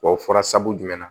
Wa o fɔra sabu jumɛn na